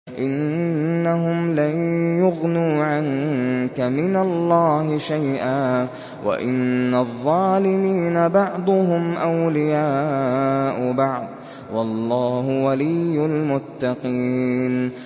إِنَّهُمْ لَن يُغْنُوا عَنكَ مِنَ اللَّهِ شَيْئًا ۚ وَإِنَّ الظَّالِمِينَ بَعْضُهُمْ أَوْلِيَاءُ بَعْضٍ ۖ وَاللَّهُ وَلِيُّ الْمُتَّقِينَ